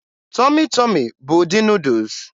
Tọmị Tọmị bụ ụdị Nuudus.